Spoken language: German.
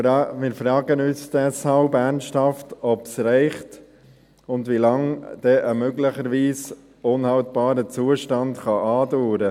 Wir fragen uns deshalb ernsthaft, ob dies reicht und wie lange ein möglicherweise unhaltbarer Zustand andauern kann.